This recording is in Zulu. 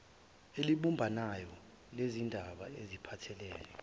elibumbanayo lezindaba ezipahthelene